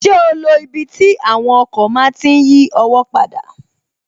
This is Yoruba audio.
Ṣé o lo ibi tí àwọn ọkọ̀ máa tí n yí ọwọ́ padà?